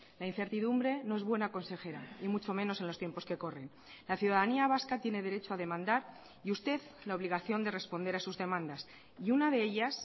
la incertidumbre no es buena consejera y mucho menos en los tiempos que corren la ciudadanía vasca tiene derecho a demandar y usted la obligación de responder a sus demandas y una de ellas